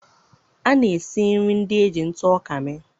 A na-esi nri ndị e ji ntụ ọka mee.